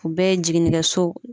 U bɛɛ ye jiginnikɛso